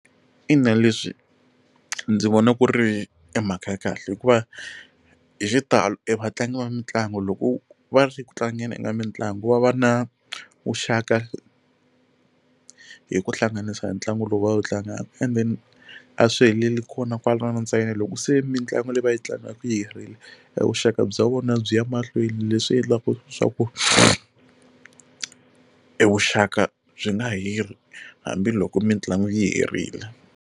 Ina leswi ndzi vona ku ri i mhaka ya kahle hikuva hi xitalo i vatlangi va mitlangu loko va ri ku tlangeni u nga mitlangu va va na vuxaka hi ku hlanganisa hi ntlangu lowu va wu tlangaka and then a swi heleli kona kwala ntsena loko se mitlangu leyi va yi tlangiwaka yi herile vuxaka bya vona byi ya mahlweni leswi endlaka swa ku e vuxaka byi nga heli hambiloko mitlangu yi herile.